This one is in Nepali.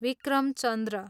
विक्रम चन्द्र